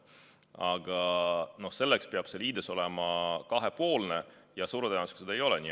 Aga selleks peab see liides olema kahepoolne ja suure tõenäosusega see ei ole nii.